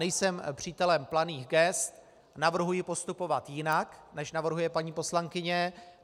Nejsem přítelem planých gest, navrhuji postupovat jinak, než navrhuje paní poslankyně.